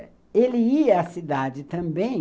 E ele ia à cidade também